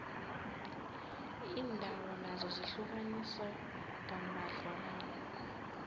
iindawo nazo zihlukaniswe kambadlwana